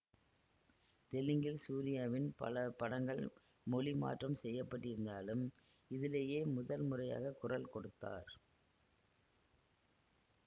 தெலுங்கில் சூரியாவின் பல படங்கள் மொழிமாற்றம் செய்யப்பட்டிருத்தாலும் இதிலேயே முதல் முறையாக குரல் கொடுத்தார்